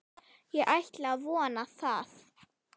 Ég ætla að vona það.